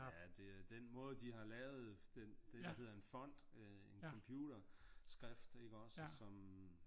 Ja det er den måde de har lavet den det der hedder en font øh en computer skrift ikke også som